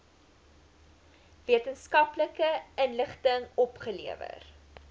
wetenskaplike inligting opgelewer